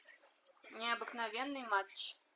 необыкновенный матч